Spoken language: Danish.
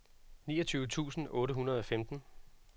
niogtyve tusind otte hundrede og femten